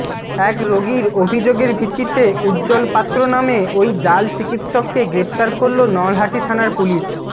এক রোগীর অভিযোগের ভিত্তিতে উজ্জ্বল পাত্র নামে ওই জাল চিকিৎসককে গ্রেফতার করল নলহাটি থানার পুলিশ